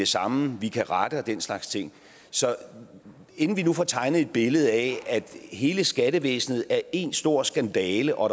samme vi kan rette og den slags ting så inden vi nu får tegnet et billede af at hele skattevæsenet er én stor skandale og